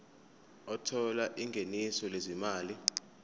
othola ingeniso lezimali